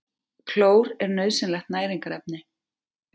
Klór er nauðsynlegt næringarefni.